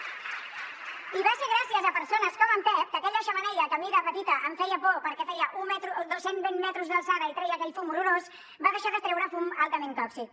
i va ser gràcies a persones com en pep que aquella xemeneia que a mi de petita em feia por perquè feia cent vint metres d’alçada i treia aquell fum horrorós va deixar de treure fum altament tòxic